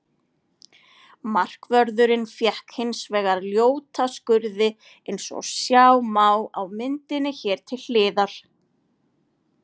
Markvörðurinn fékk hins vegar ljóta skurði eins og sjá má á myndinni hér til hliðar.